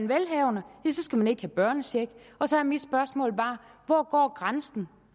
velhavende skal man ikke have børnecheck og så er mit spørgsmål bare hvor går grænsen